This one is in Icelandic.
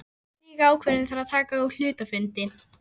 Slíka ákvörðun þarf að taka á hluthafafundi.